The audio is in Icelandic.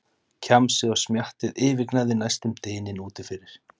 Kjamsið og smjattið yfirgnæfði næstum dyninn úti fyrir.